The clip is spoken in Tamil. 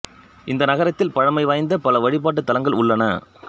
இந்த நகரத்தில் பழைமை வாய்ந்த பல வழிபாட்டுத் தலங்கள் உள்ளன